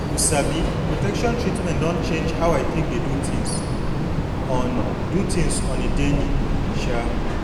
you sabi protection treatment don change how i take dey do things on do things on a daily um